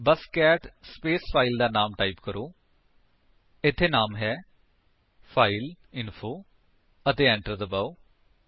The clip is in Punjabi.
ਬਸ ਕੈਟ ਸਪੇਸ ਫਾਇਲ ਦਾ ਨਾਮ ਟਾਈਪ ਕਰੋ ਇੱਥੇ ਨਾਮ ਹੈ ਫਾਈਲਇੰਫੋ ਅਤੇ enter ਦਬਾਓ